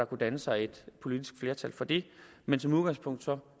kunne danne sig et politisk flertal for det men som udgangspunkt